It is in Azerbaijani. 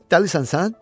Dəlisən sən?